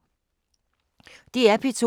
DR P2